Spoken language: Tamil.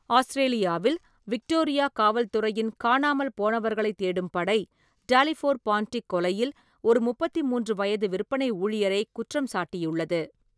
ஆஸ்திரேலியாவில் விக்டோரியா காவல்துறையின் காணாமல் போனவர்களைத் தேடும் படை, டாலிஃபோர் பான்டிக் கொலையில் ஒரு முப்பத்தி மூன்று வயது விற்பனை ஊழியரை குற்றம் சாட்டியுள்ளது.